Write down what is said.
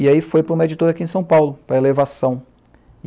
E aí foi para uma editora aqui em São Paulo, para a Elevação.